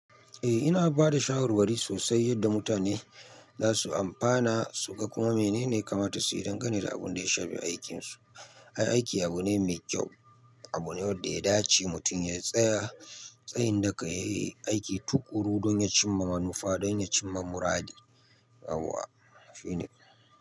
Eh, ina bada shawarwari sosai yadda mutane za su amfana su ga kuma menene ya kamata su yi dan gane da abun da ya shafi aikin su. Ai, aiki abu ne mai kyau, abu ne wadda ya dace mutum ya tsaya tsayin daka yayi aiki tuƙuru don ya cimma manufa, don ya cimma muradi. Yauwa, shi ne.